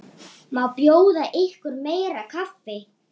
Má bjóða ykkur meira kaffi?